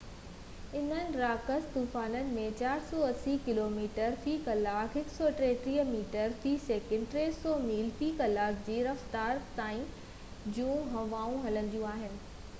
انهن راڪاس طوفانن ۾ 480 ڪلو ميٽر في ڪلاڪ 133 ميٽر في سيڪنڊ؛ 300 ميل في ڪلاڪ جي رفتار تائين جون هوائون هلنديون آهن